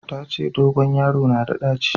Ta ce dogon yaro na da ɗaci